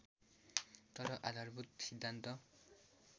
तर आधारभूत सिद्धान्त